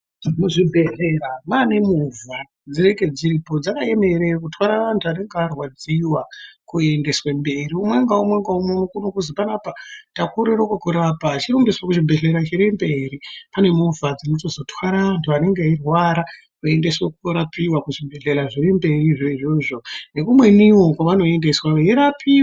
Muzvibhedhlera mane movha dzinenge dzakaemera kutwara antu anenge arwadziva kuendeswe mberi. Umwe ngaumwe ngaumwe unozi panapa takorere kukurapa achironge sure zvibhedhlera zviri mberi pane movha dzinotozotware antu anenge eirwara eiendeswa korapwa kuzvibhedhlera zvirimberi, izvo izvozvo nekumwenivo kwavanoendeswa veirwapiwa.